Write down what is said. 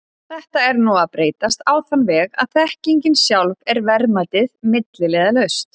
Þetta er nú að breytast á þann veg að þekkingin sjálf er verðmætið, milliliðalaust.